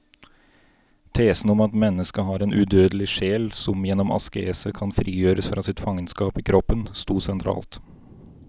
Tesen om at mennesket har en udødelig sjel som gjennom askese kan frigjøres fra sitt fangenskap i kroppen, stod sentralt.